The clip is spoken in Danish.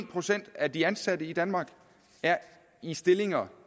procent af de ansatte i danmark er i stillinger